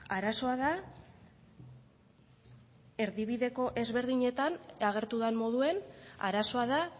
arazoa da erdibideko ezberdinetan agertu den moduan arazoa da